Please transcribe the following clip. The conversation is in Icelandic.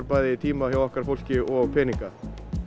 bæði tíma hjá okkar fólki og peninga